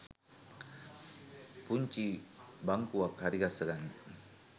පුංචි බංකුවක් හරිගස්ස ගන්න